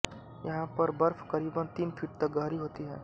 यहां पर बर्फ करीबन तीन फीट तक गहरी होती है